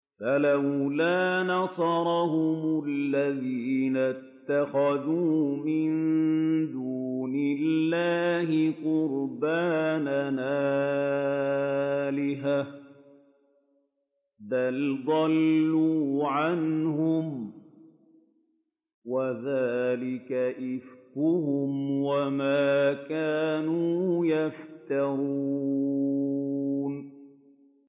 فَلَوْلَا نَصَرَهُمُ الَّذِينَ اتَّخَذُوا مِن دُونِ اللَّهِ قُرْبَانًا آلِهَةً ۖ بَلْ ضَلُّوا عَنْهُمْ ۚ وَذَٰلِكَ إِفْكُهُمْ وَمَا كَانُوا يَفْتَرُونَ